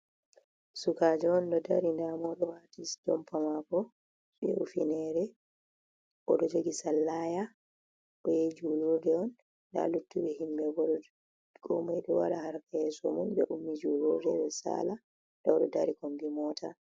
Sukajo on ɗo dari nda moɗo wati jumpa mako be ifinere odo jogi sallaya oyahi julurɗe on da luttuɓe himɓe ɓo komari ɗo wada harka yeso mun be ummi julurɗe ɓe ɗo sala ɓe ɗo dari kombi mota.